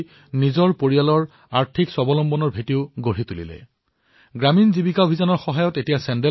যেতিয়া ফুলপুৰৰ আৰক্ষী অথবা তেওঁলোকৰ পৰিয়ালৰ কথা শুনোআপোনালোকৰ মনত আছে যে মই লালকিল্লাৰ পৰা ১৫ আগষ্টত দেশবাসীসকলক এটা কথাৰ বাবে আহ্বান জনাইছিলো